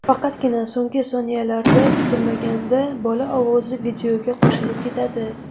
Faqatgina so‘nggi soniyalarda kutilmaganda bola ovozi videoga qo‘shilib ketadi.